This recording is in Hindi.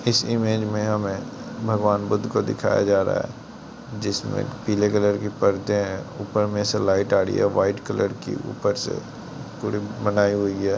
इस इमेज में हमें भगवान बुद्ध को दिखाया जा रहा है जिसमें पीले कलर की पर्दे हैं| ऊपर में से लाइट आ रही है वाइट कलर की ऊपर से थोड़ी बनाई हुई है|